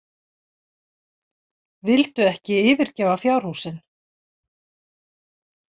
Vildu ekki yfirgefa fjárhúsin.